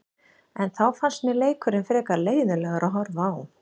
En þá fannst mér leikurinn frekar leiðinlegur að horfa á.